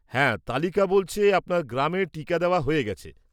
হ্যাঁ, তালিকা বলছে আপনার গ্রামে টিকা দেওয়া হয়ে গেছে।